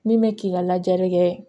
Min bɛ k'i ka lajɛli kɛ